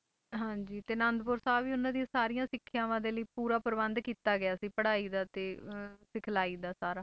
ਹਾਂਜੀ ਤੇ ਆਨੰਦਪੁਰ ਸਾਹਿਬ ਹੀ ਉਹਨਾਂ ਦੀਆਂ ਸਾਰੀਆਂ ਸਿੱਖਿਆਵਾਂ ਦੇ ਲਈ ਪੂਰਾ ਪ੍ਰਬੰਧ ਕੀਤਾ ਗਿਆ ਸੀ ਪੜ੍ਹਾਈ ਦਾ ਤੇ ਅਹ ਸਿੱਖਲਾਈ ਦਾ ਸਾਰਾ।